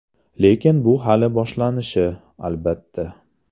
Lekin bu hali boshlanishi, albatta.